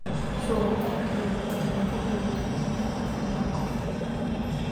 Shuruudaha kaydinta way ku kala duwan yihiin qof ilaa qof.